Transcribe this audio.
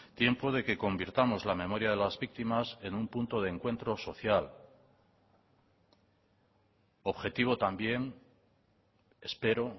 tiempo de que convirtamos la memoria de las víctimas en un punto de encuentro social objetivo también espero